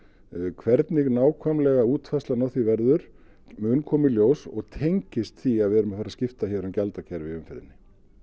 hvernig nákvæmlega útfærslan á því verður mun koma í ljós og tengist því að við erum að fara að skipta hér um gjaldakerfi í umferðinni